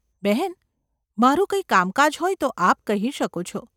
બહેન ! મારું કંઈ કામકાજ હોય તો આપ કહી શકો છો.